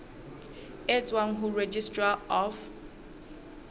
e tswang ho registrar of